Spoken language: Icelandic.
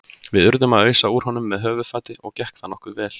Við urðum að ausa úr honum með höfuðfati og gekk það nokkuð vel.